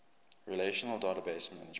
relational database management